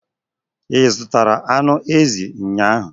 I zụtara anụ ezi ụnyahụ?